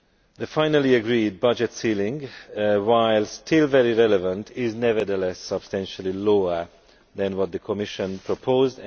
The finally agreed budget ceiling while still very relevant is nevertheless substantially lower than what the Commission proposed.